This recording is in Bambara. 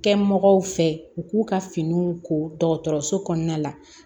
Kɛ mɔgɔw fɛ u k'u ka finiw ko dɔgɔtɔrɔso kɔnɔna la